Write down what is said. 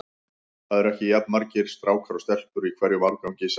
Það eru ekki jafn margir strákar og stelpur í hverjum árgangi sagði